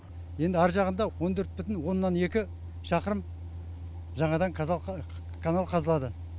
енді әр жағында он төрт бүтін оннан екі шақырым жаңадан канал қазылады